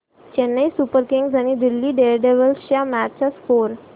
Chennai Super Kings आणि Delhi Daredevils च्या match चा स्कोअर